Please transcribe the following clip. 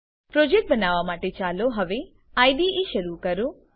project બનાવવા માટે ચાલો હવે આઇડીઇ શરૂ કરો